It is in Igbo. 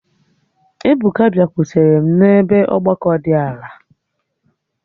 Ebuka biakwutere m n'ebe ọgbakọ di ala